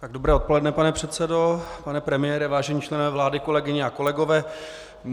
Dobré odpoledne, pane předsedo, pane premiére, vážení členové vlády, kolegyně a kolegové.